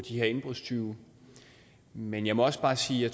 de her indbrudstyve men jeg må også bare sige at